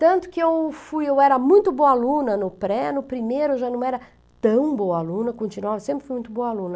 Tanto que eu fui, eu era muito boa aluna no pré, no primeiro eu já não era tão boa aluna, continuava, sempre fui muito boa aluna.